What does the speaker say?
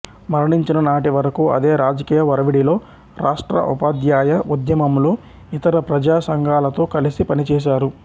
మరణించిన నాటి వరకూ అదే రాజకీయ ఒరవడిలో రాష్ట్ర ఉపాధ్యాయ ఉద్యమంలో ఇతర ప్రజా సంఘాలతో కలిసి పనిచేశారు